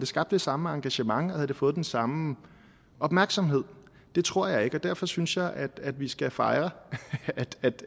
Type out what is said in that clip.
skabt det samme engagement og fået den samme opmærksomhed det tror jeg ikke og derfor synes jeg at vi skal fejre